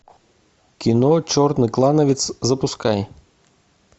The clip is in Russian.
кино черный клановец запускай